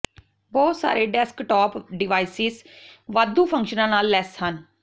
ਬਹੁਤ ਸਾਰੇ desktop devices ਵਾਧੂ ਫੰਕਸ਼ਨਾਂ ਨਾਲ ਲੈਸ ਹਨ